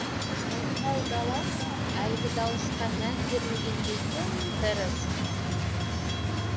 мылқау дала әлгі дауысқа мән бермегендей тым тырыс